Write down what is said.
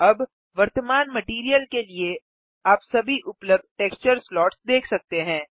अब वर्तमान मटैरियल के लिए आप सभी उपलब्ध टेक्सचर स्लॉट्स देख सकते हैं